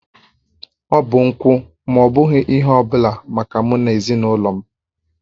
Ọ bụ nkwụ ma ọ bụghị ihe ọ bụla maka mụ na ezinụlọ m